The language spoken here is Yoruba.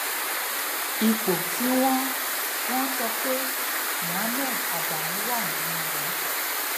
ipò tí wọn wọn sọ pé muhammed adamu wà nìyẹn o